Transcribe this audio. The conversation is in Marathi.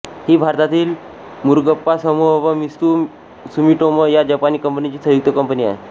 ही भारतातील मुरुगप्पा समुह व मित्सुइ सुमीटोमो या जपानी कंपनीची संयुक्त कंपनी आहे